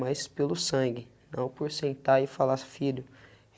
Mais pelo sangue, não por sentar e falar, filho.